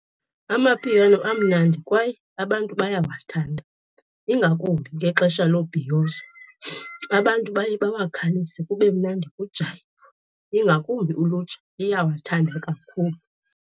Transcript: Amapiano amnandi kwaye abantu bayawathanda, ingakumbi ngexesha lobhiyozo. Abantu baye bawakhalise kube mnandi, kujayivwe. Ingakumbi ulutsha, iyawathanda kakhulu.